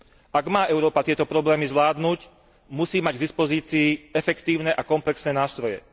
Ak má Európa tieto problémy zvládnuť, musí mať k dispozícii efektívne a komplexné nástroje.